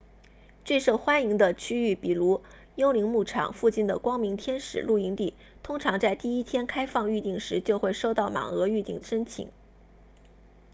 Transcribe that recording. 最受欢迎的区域比如幽灵牧场 phantom ranch 附近的光明天使 bright angel 露营地通常在第一天开放预订时就会收到满额预订申请